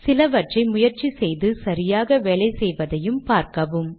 சிலவற்றை முயற்சி செய்து சரியாக வேலை செய்வதை பார்க்கவும்